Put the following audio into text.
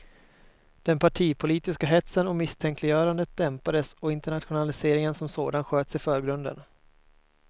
Den partipolitiska hetsen och misstänkliggörandet dämpades och internationaliseringen som sådan sköts i förgrunden.